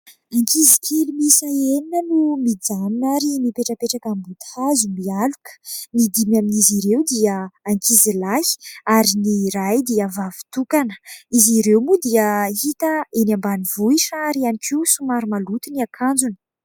Ankizy kely miisa enina no mijanona ary mipetrapetraka ambody hazo mialoka. Ny dimy amin'izy ireo dia ankizilahy ary ny iray dia vavy tokana. Izy ireo moa dia hita eny ambanivohitra ary ihany koa somary maloto ny akanjony.